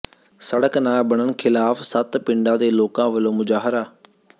ਸੜਕ ਨਾ ਬਣਨ ਖ਼ਿਲਾਫ਼ ਸੱਤ ਪਿੰਡਾਂ ਦੇ ਲੋਕਾਂ ਵੱਲੋਂ ਮੁਜ਼ਾਹਰਾ